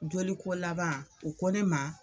Joliko laban u ko ne ma